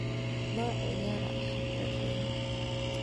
Noiciyara hafladhena.